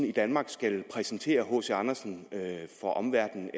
i danmark skal præsentere hc andersen for omverdenen